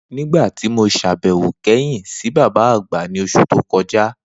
Nigbati mo ṣabẹwo si baba agba kẹhin, ni oṣu to kọja.